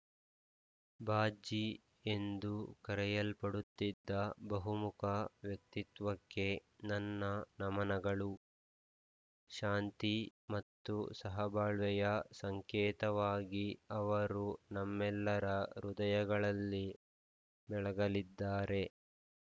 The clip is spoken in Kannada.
ಬಾಬ್ಜೀ ಎಂದು ಕರೆಯಲ್ಪಡುತ್ತಿದ್ದ ಬಹುಮುಖ ವ್ಯಕ್ತಿತ್ವಕ್ಕೆ ನನ್ನ ನಮನಗಳು ಶಾಂತಿ ಮತ್ತು ಸಹಬಾಳ್ವೆಯ ಸಂಕೇತವಾಗಿ ಅವರು ನಮ್ಮೆಲ್ಲರ ಹೃದಯಗಳಲ್ಲಿ ಬೆಳಗಲಿದ್ದಾರೆ